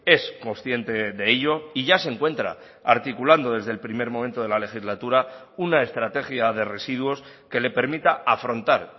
es consciente de ello y ya se encuentra articulando desde el primer momento de la legislatura una estrategia de residuos que le permita afrontar